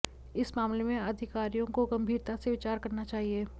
इस मामले में अधिकारियों को गंभीरता से विचार करना चाहिए